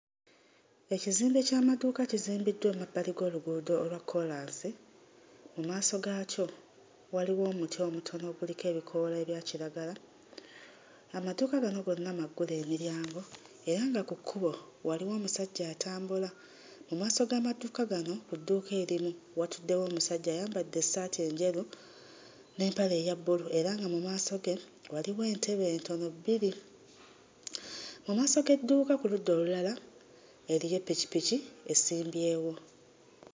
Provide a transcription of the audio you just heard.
Ekizimbe ky'amaduuka kizimbiddwa emabbali g'oluguudo olwa kkoolaasi, mu maaso gaakyo waliwo omuti omutono oguliko ebikoola ebya kiragala. Amaduuka gano gonna maggule emiryango era nga ku kkubo waliwo omusajja atambula. Mu maaso g'amaduuka gano ku dduuka erimu watuddewo omusajja ayambadde essaati enjeru n'empale eya bbulu era nga mu maaso ge waliwo entebe entono bbiri. Mu maaso g'edduuka ku ludda olulala eriyo eppikipiki esimbyewo.